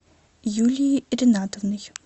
юлией ринатовной